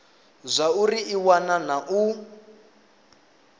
zwauri i wana na u